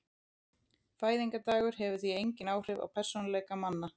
Fæðingardagur hefur því engin áhrif á persónuleika manna.